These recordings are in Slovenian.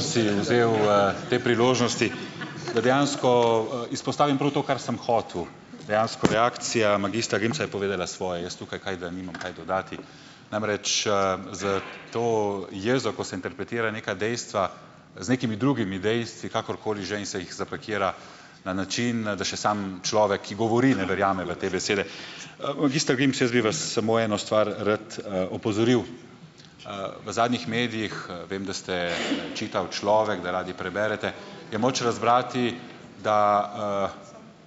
si vzel, te priložnosti. Da dejansko, izpostavim prav to, kar sem hotel. Dejansko reakcija magistra Grimsa je povedala svoje, jaz tukaj kaj da nimam kaj dodati. Namreč, za to jezo, ko se interpretira neka dejstva z nekimi drugimi dejstvi, kakorkoli že in se jih zapakira na način, da še samo človek, ki govori, ne verjame v te besede. Magister Grims, jaz bi vas samo eno stvar rad, opozoril: v zadnjih medijih, vem, da ste, čital človek, da radi preberete, je moč razbrati, da,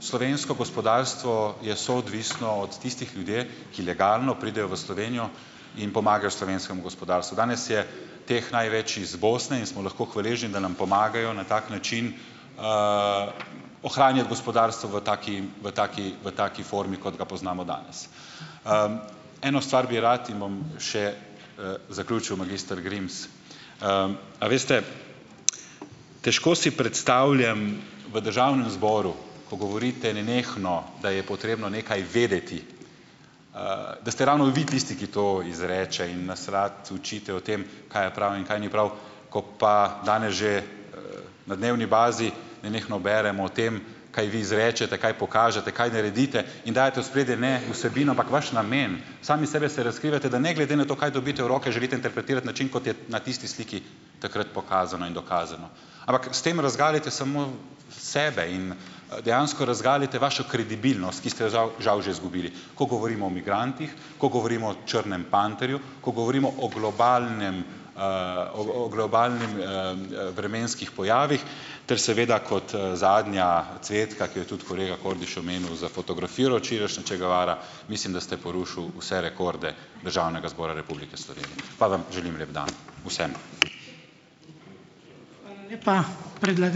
slovensko gospodarstvo je soodvisno od tistih ljudi, ki legalno pridejo v Slovenijo in pomagajo slovenskemu gospodarstvu. Danes je teh največ iz Bosne in smo lahko hvaležni, da nam pomagajo na tak način, ohranjati gospodarstvo v taki, v taki, v taki formi, kot ga poznamo danes. Eno stvar bi rad in bom še, zaključil, magister Grims. A veste, težko si predstavljam v državnem zboru, ko govorite nenehno, da je potrebno nekaj vedeti, da ste ravno vi tisti, ki to izreče in nas rad učite o tem, kaj je prav in kaj ni prav, ko pa danes že na dnevni bazi nenehno beremo o tem, kaj vi izrečete, kaj pokažete, kaj naredite in dajete v ospredje ne vsebino, ampak vaš namen, sami sebe se razkrivate, da ne glede na to, kaj dobite v roke, želite interpretirati način, kot je na tisti sliki takrat pokazano in dokazano. Ampak s tem razgalite sebe in, dejansko razgalite vašo kredibilnost, ki ste jo žal, žal že zgubili. Ko govorimo o migrantih, ko govorimo o črnem panterju, ko govorimo o globalnem, o o globalnem, vremenskih pojavih ter seveda kot, zadnja cvetka, ki jo tudi kolega Kordiš omenil, za fotografijo včerajšnjo, Che Guevara mislim, da ste porušil vse rekorde Državnega zbora Republike ... Pa vam želim lep dan vsem.